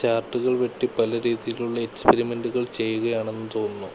ചാർട്ടുകൾ വെട്ടി പല രീതിയിലുള്ള എക്സ്പീരിമെൻ്റുകൾ ചെയ്യുകയാണെന്ന് തോന്നുന്നു.